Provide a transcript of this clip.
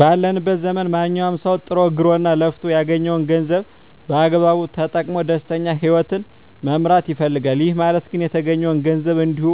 ባለንበት ዘመን ማንኛዉም ሰዉ ጥሮ ግሮእና ለፍቶ ያገኘዉን ገንዘብ በአግባቡ ተጠቅሞ ደስተኛ ህይወትን መምራት ይፈልጋል ይህ ማለት ግን የተገኘዉን ገንዘብ እንዲሁ